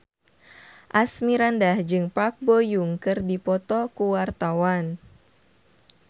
Asmirandah jeung Park Bo Yung keur dipoto ku wartawan